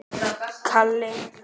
Meira brauð, piltar?